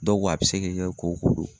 Dɔw ko a bɛ se ke kɛ kooko do